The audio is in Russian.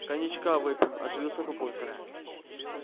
коньячка выпьем оживился папулька